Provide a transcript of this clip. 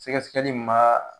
Sɛkɛsɛkɛli mun b'a